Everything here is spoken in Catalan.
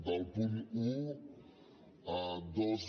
del punt un dos